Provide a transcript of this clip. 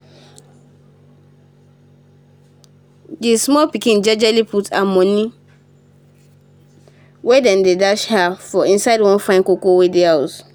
d small pikin jejely put her moni wey dem dash her for inside one fine koomkoom wey dey house